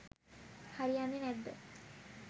හරි යන්නෙ නෑද්ද?